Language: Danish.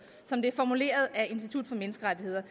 som det er formuleret af institut for menneskerettigheder